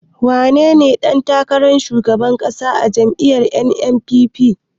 Wanene ɗan takarar shugaban ƙasa a jam'iyyar NNPP?